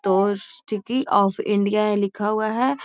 तो sticky of India है लिखा हुआ है |